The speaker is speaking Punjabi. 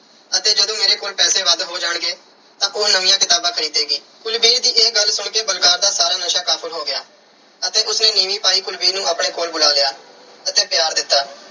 ਅਤੇ ਜਦੋਂ ਮੇਰੇ ਕੋਲ ਪੈਸ ਵੱਧ ਹੋ ਜਾਣਗੇ, ਤਾਂ ਉਹ ਨਵੀਆਂ ਕਿਤਾਬਾਂ ਖਰੀਦੇਗੀ। ਕੁਲਵੀਰ ਦੀ ਇਹ ਗੱਲ ਸੁਣ ਕੇ ਬਲਕਾਰ ਦਾ ਸਾਰਾ ਨਸ਼ਾ ਕਾਫੂਰ ਹੋ ਗਿਆ ਅਤੇ ਉਸ ਨੇ ਨੀਵੀਂ ਪਾਈ ਕੁਲਵੀਰ ਨੂੰ ਆਪਣੇ ਕੋਲ ਬੁਲਾ ਲਿਆ ਅਤੇ ਪਿਆਰ ਦਿੱਤਾ।